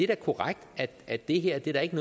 da korrekt at det her da ikke